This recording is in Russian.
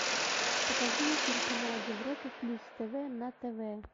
покажи мне телеканал европа плюс тв на тв